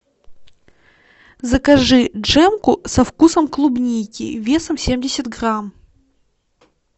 закажи джемку со вкусом клубники весом семьдесят грамм